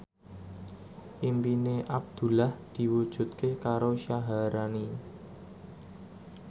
impine Abdullah diwujudke karo Syaharani